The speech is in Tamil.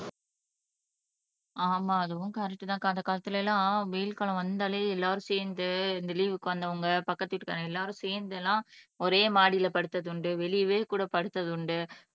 ஆமா அதுவும் கரெக்ட்தான்க்கா அந்த காலத்துல எல்லாம் வெயில் காலம் வந்தாலே எல்லாரும் சேர்ந்து இந்த லீவுக்கு வந்தவங்க பக்கத்து வீட்டுக்காரங்க எல்லாரும் சேர்ந்து எல்லாம் ஒரே மாடியில படுத்ததுண்டு வெளியவே கூட படுத்ததுண்டு